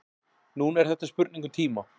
Núna er þetta spurning um tíma.